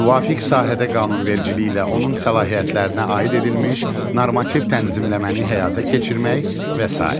Müvafiq sahədə qanunvericiliklə onun səlahiyyətlərinə aid edilmiş normativ tənzimləməni həyata keçirmək və sair.